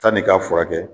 Tani k'a furakɛ